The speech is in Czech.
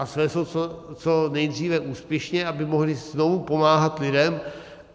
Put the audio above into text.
A svést ho co nejdříve úspěšně, aby mohli znovu pomáhat lidem.